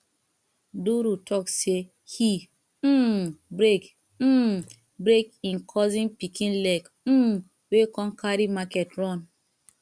duru talk say he um break um break im cousin pikin leg um wey come carry market run